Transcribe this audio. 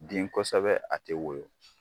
Den kosɛbɛ a te woyon